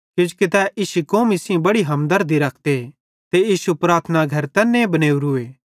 किजोकि ते इश्शी कौमी सेइं बड़ी हमदरदी रखते ते इश्शू प्रार्थना घर तैन्नी बनेवरुए